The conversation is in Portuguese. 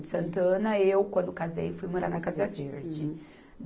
De Santana, eu, quando casei, fui morar na Casa Verde. Uhum.